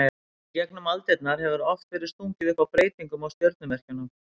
Í gegnum aldirnar hefur oft verið stungið upp á breytingum á stjörnumerkjunum.